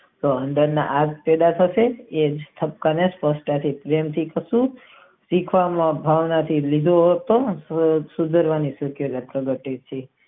તે અંદર ના આડ છેડાં વચ્ચે કહે છે શીખવા ભણવાથી લીધો હોત તો ઉધારી ગયો હોત.